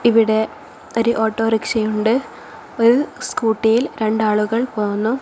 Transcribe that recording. ഇവിടെ ഒരു ഓട്ടോറിക്ഷയുണ്ട് ഒരു സ്കൂട്ടിയിൽ രണ്ടാളുകൾ പോകുന്നു.